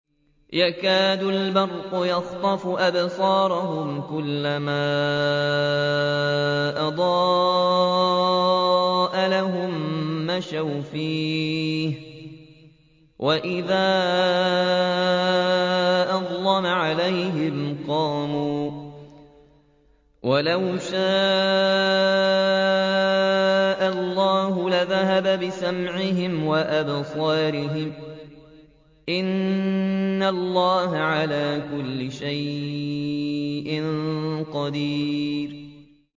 يَكَادُ الْبَرْقُ يَخْطَفُ أَبْصَارَهُمْ ۖ كُلَّمَا أَضَاءَ لَهُم مَّشَوْا فِيهِ وَإِذَا أَظْلَمَ عَلَيْهِمْ قَامُوا ۚ وَلَوْ شَاءَ اللَّهُ لَذَهَبَ بِسَمْعِهِمْ وَأَبْصَارِهِمْ ۚ إِنَّ اللَّهَ عَلَىٰ كُلِّ شَيْءٍ قَدِيرٌ